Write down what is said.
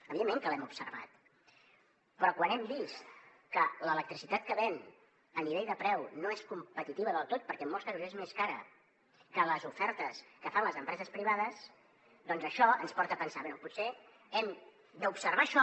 evidentment que l’hem observat però quan hem vist que l’electricitat que ven a nivell de preu no és competitiva del tot perquè en molts casos és més cara que les ofertes que fan les empreses privades doncs això ens porta a pensar bé potser hem d’observar això